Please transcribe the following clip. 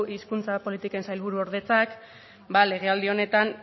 hizkuntza politiken sailburuordetzak legealdi honetan